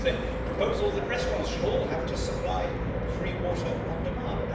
The proposal that restaurants should all have to supply free water on demand.